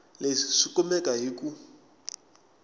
leswi swi kumeka hi ku